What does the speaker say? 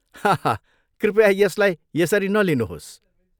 हाहा कृपया यसलाई यसरी नलिनुहोस्।